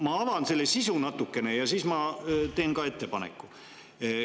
Ma avan selle sisu natukene ja siis ma teen ka ettepaneku.